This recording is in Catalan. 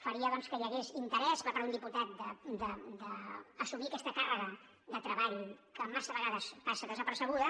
faria que hi hagués interès per part d’un diputat d’assumir aquesta càrrega de treball que massa vegades passa desapercebuda